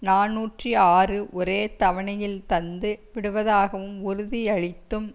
நாநூற்று ஆறு ஒரே தவணையில் தந்து விடுவதாகவும் உறுதியளித்தும்